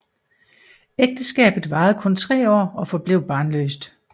Ægteskabet varede kun tre år og forblev barnløst